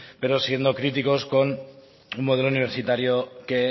pero siendo críticos con un modelo universitario que